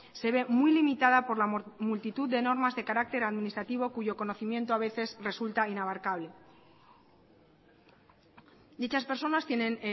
se ve muy limitada por la multitud de normas de carácter administrativo cuyo conocimiento a veces resulta inabarcable dichas personas tienen